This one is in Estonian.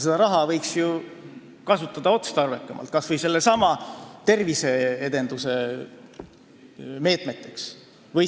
Seda raha võiks ju kasutada otstarbekamalt, kas või terviseedenduse meetmeteks.